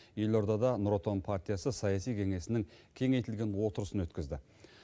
елордада нұр отан партиясы саяси кеңесінің кеңейтілген отырысын өткізді